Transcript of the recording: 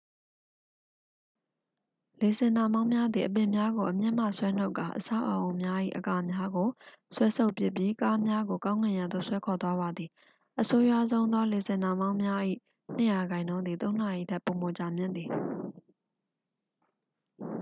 လေဆင်နှာမောင်းများသည် အပင်များကို အမြစ်မှဆွဲနှုတ်ကာ အဆောက်အဦများ၏ အကာများကို ဆွဲဆုတ်ပစ်ပြီး ကားများကို ကောင်းကင်ယံသို့ ဆွဲခေါ်သွားပါသည် အဆိုးရွားဆုံးသောလေဆင်နှာမောင်းများ၏ နှစ်ရာခိုင်နှုန်းသည် သုံးနာရီထက်ပိုမိုကြာမြင့်ပါသည်